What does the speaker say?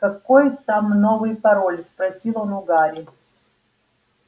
какой там новый пароль спросил он у гарри